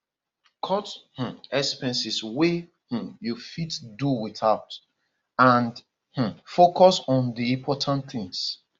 cut um expenses wey um you fit do without and um focus on di important things